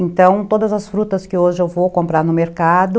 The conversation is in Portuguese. Então, todas as frutas que hoje eu vou comprar no mercado...